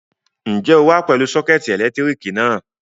Ǹjẹ́ o wá pẹ̀lú sọ́kẹ́tì ẹ̀lẹ́tíríkì náà?